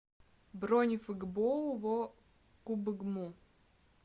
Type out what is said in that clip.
бронь фгбоу во кубгму